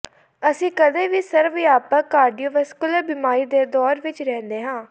ਅਸੀਂ ਕਦੇ ਵੀ ਸਰਵ ਵਿਆਪਕ ਕਾਰਡੀਓਵੈਸਕੁਲਰ ਬਿਮਾਰੀ ਦੇ ਦੌਰ ਵਿਚ ਰਹਿੰਦੇ ਹਾਂ